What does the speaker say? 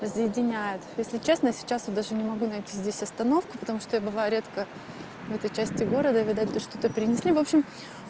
разъединяет если честно сейчас и даже не могу найти здесь остановки потому что я бываю редко в этой части города видать что-то принесли в общем